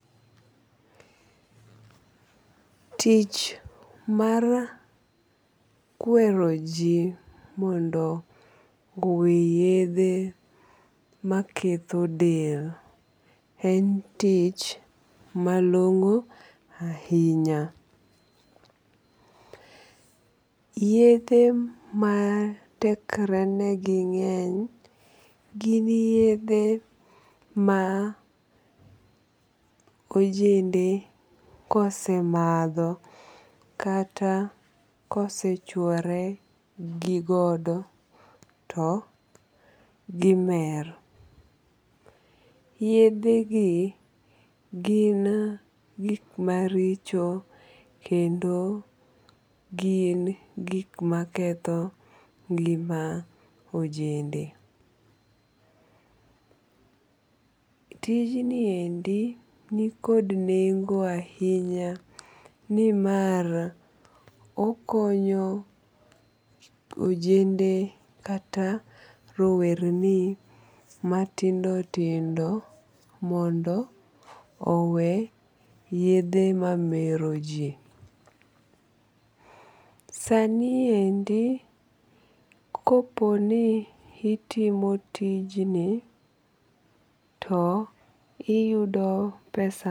Tich mar kweroji mondo owe yethe maketho del en tich malongo ahinya, yethe ma tekrene gi ng'eny gin yethe ma ojende kose matho kata kosechuoregi godo to gimer, yethegi gin gik maricho kendo gin gik ma ketho ngima ojende. tijniendi nikod nengo ahinya nimar okonyo ojende kata rowerni matindo tindo mondo owe yedhe mameroji sani endii koponi itimo tijni to iyudo pesa